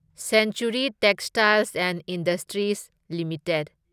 century Textiles and Industries limited